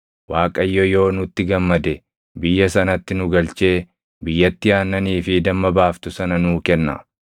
Waaqayyo yoo nutti gammade biyya sanatti nu galchee biyyattii aannanii fi damma baaftu sana nuu kenna.